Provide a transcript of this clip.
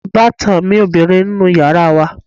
Ìbátan mi ọbìrin ń nu yàrá wa